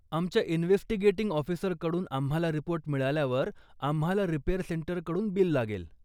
आमच्या इन्व्हेस्टिगेटिंग ऑफिसरकडून आम्हाला रिपोर्ट मिळाल्यावर आम्हाला रिपेअर सेंटरकडून बिल लागेल.